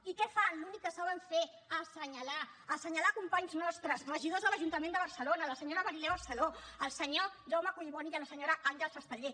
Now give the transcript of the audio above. i què fan l’únic que saben fer assenyalar assenyalar companys nostres regidors de l’ajuntament de barcelona la senyora marilén barceló el senyor jaume collboni i la senyora àngels esteller